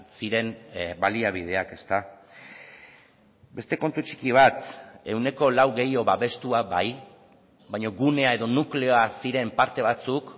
ziren baliabideak beste kontu txiki bat ehuneko lau gehiago babestua bai baina gunea edo nukleoa ziren parte batzuk